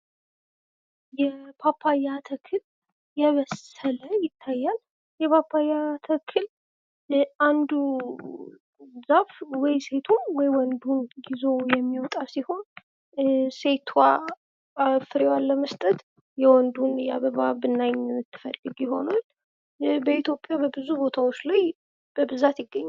የፓፓያ ተክል የበሰለ ይታያል። የፓፓያ ተክል ለአንዱ ዛፍ ወይ ሴቱን ወይ ወንዱን ይዞ የሚወጣ ሲሆን ሴትዋ ፍሬዋን ለመስጠት የወንዱን የአበባ ብናኝ ትፈልግ ይሆናል። በኢትዮጵያ በብዙ ቦታዎች ላይ በብዛት ይገኛል።